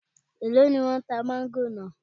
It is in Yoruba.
Èló ni wọ́n tá máńgò náà?